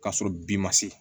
K'a sɔrɔ bin ma se